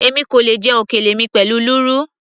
èmi kò lè jẹ òkèlè mi pẹ̀lú lúrú